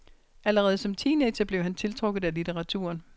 Allerede som teenager blev han tiltrukket af litteraturen.